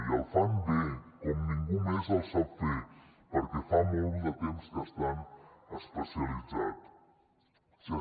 i el fan bé com ningú més el sap fer perquè fa molt de temps que estan especialitzats